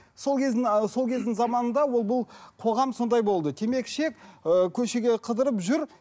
сол кездің ііі сол кездің заманында ол бұл қоғам сондай болды темекі шек ыыы көшеге қыдырып жүр